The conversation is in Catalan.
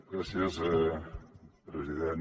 gràcies president